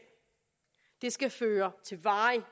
det skal føre til varig